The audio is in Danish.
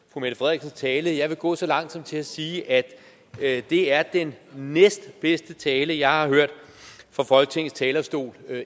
fru mette frederiksens tale jeg vil gå så langt som til at sige at at det er den næstbedste tale jeg har hørt fra folketingets talerstol